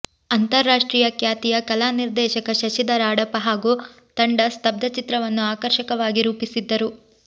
ಅಂತಾ ರಾಷ್ಟ್ರೀಯ ಖ್ಯಾತಿಯ ಕಲಾನಿರ್ದೇಶಕ ಶಶಿಧರ ಅಡಪ ಹಾಗೂ ತಂಡ ಸ್ತಬ್ಧಚಿತ್ರವನ್ನು ಆಕರ್ಷಕವಾಗಿ ರೂಪಿಸಿದ್ದರು